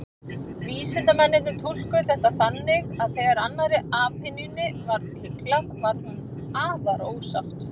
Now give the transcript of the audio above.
Vísindamennirnir túlkuðu þetta þannig að þegar annarri apynjunni var hyglað, varð hin afar ósátt.